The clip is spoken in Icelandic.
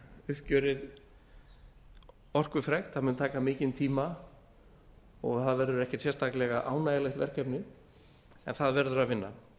uppgjörið orkufrekt það mun taka mikinn tíma og það verður ekki sérstaklega ánægjulegt verkefni en það verður að vinna